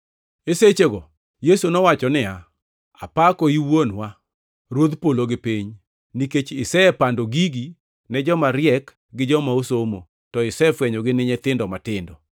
E sechego Yesu nowacho niya, “Apakoi Wuonwa, Ruodh polo gi piny, nikech isepando gigi ne joma riek gi joma osomo, to isefwenyogi ne nyithindo matindo.